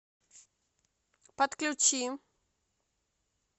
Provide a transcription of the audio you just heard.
подключи